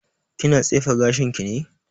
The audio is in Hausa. Kina tsefe gashin ki ne?